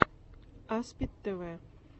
аспид тв